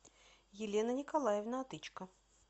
елена николаевна отычко